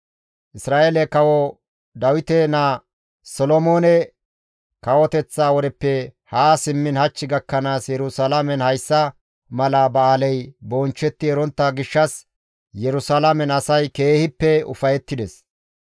Isra7eele kawo Dawite naa Solomoone kawoteththa wodeppe haa simmiin hach gakkanaas Yerusalaamen hayssa mala ba7aaley bonchchetti erontta gishshas Yerusalaamen asay keehippe ufayettides.